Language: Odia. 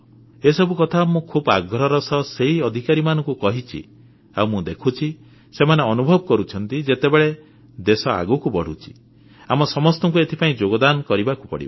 ଏସବୁ କଥା ମୁଁ ଖୁବ ଆଗ୍ରହର ସହ ସେହି ଅଧିକାରୀମାନଙ୍କୁ କହିଛି ଆଉ ମୁଁ ଦେଖୁଛି ସେମାନେ ଅନୁଭବ କରୁଛନ୍ତି ଯେତେବେଳେ ଦେଶ ଆଗକୁ ବଢ଼ୁଛି ଆମ ସମସ୍ତଙ୍କୁ ଏଥିପାଇଁ ଯୋଗଦାନ କରିବାକୁ ପଡ଼ିବ